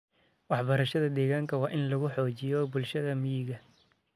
Waxbarashada deegaanka waa in lagu xoojiyo bulshada miyiga.